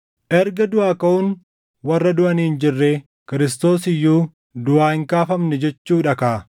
Erga duʼaa kaʼuun warra duʼanii hin jirre, Kiristoos iyyuu duʼaa hin kaafamne jechuudha kaa!